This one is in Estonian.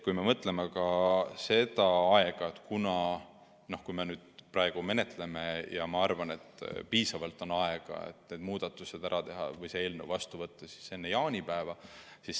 Kui me mõtleme ka aja peale, siis praegu menetledes on minu arvates piisavalt aega, et see eelnõu heaks kiita enne jaanipäeva.